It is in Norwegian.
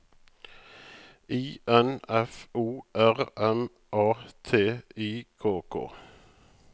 I N F O R M A T I K K